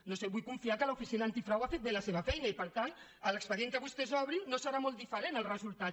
no ho sé vull confiar que l’oficina antifrau ha fet bé la seva feina i per tant de l’expedient que vostès obrin no serà molt diferent el resultat